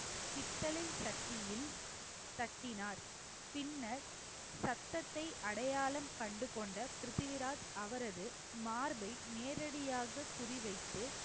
பித்தளை சட்டியில் தட்டினார். பின்னர் சத்தத்தை அடையாளம் கண்டு கொண்ட பிருத்திவிராஜ் அவரது மார்பை நேரடியாக குறிவைத்து